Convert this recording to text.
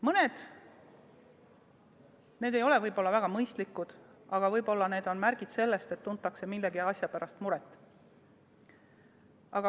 Mõned neist ei ole väga mõistlikud, aga võib-olla on nad märgid sellest, et tuntakse millegi pärast muret.